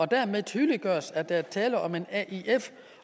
dermed tydeliggøres at der er tale om en aif